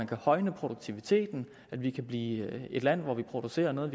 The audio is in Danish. kan højne produktiviteten så vi kan blive et land hvor vi producerer noget